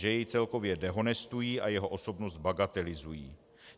Že jej celkově dehonestují a jeho osobnost bagatelizují.